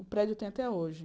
O prédio tem até hoje.